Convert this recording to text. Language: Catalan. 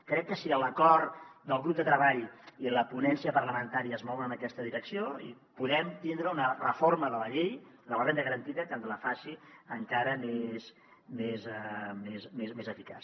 crec que si l’acord del grup de treball i la ponència parlamentària es mouen en aquesta direcció podrem tindre una reforma de la llei de la renda garantida que ens la faci encara més eficaç